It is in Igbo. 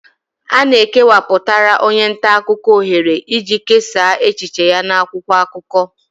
A ga-ekewapụtara onye nta akụkọ ohere iji kesaa echiche ya n'akwụkwọ akụkọ